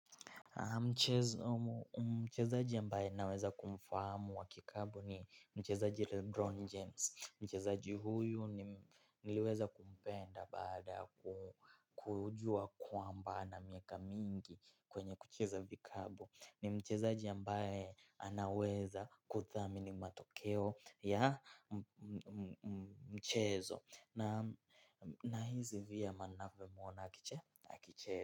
Mchezaji ambaye naweza kumfahamu wa kikapu ni mchezaji Lebron James. Mchezaji huyu niliweza kumpenda baada kujua kwamba na miaka mingi kwenye kucheza vikabu. Ni mchezaji ambaye anaweza kuthamini matokeo ya mchezo. Nahizi vyema navyomwona akicheza.